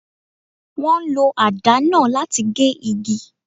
Wọ́n ń lo àdá náà láti gé igi.